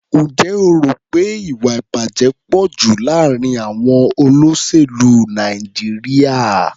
Ǹjẹ́ o rò pé ìwà-ìbàjẹ́ pọ̀ jù láàárín àọn olóṣèlú Nàìjíríà?